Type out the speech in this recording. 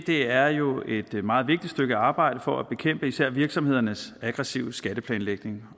er jo et meget vigtigt stykke arbejde for at bekæmpe især virksomhedernes aggressive skatteplanlægning